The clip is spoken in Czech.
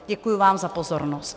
Děkuju vám za pozornost.